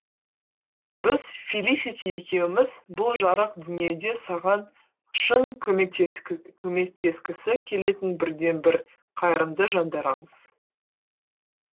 біз фелисити екеуіміз бұл жарық дүниеде саған шын көмектескісі келетін бірден бір қайырымды жандарамыз